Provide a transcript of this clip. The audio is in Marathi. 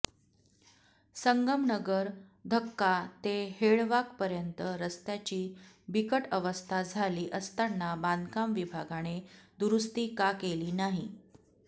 संगमनगर धक्का ते हेळवाकपर्यंत रस्त्याची बिकट अवस्था झाली असताना बांधकाम विभागाने दुरूस्ती का केली नाही